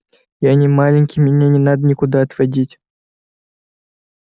я не маленький меня не надо никуда отводить